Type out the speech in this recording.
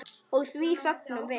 Og því fögnum við.